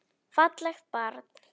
Fallegt barn.